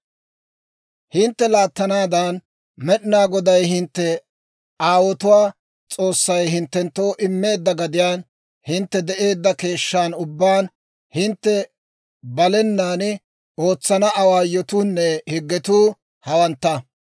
«Hintte laattanaadan, Med'inaa Goday hintte aawotuwaa S'oossay hinttenttoo immeedda gadiyaan hintte de'eedda keeshshan ubbaan hintte balenaan ootsana awaayotuunne higgetuu, hawantta.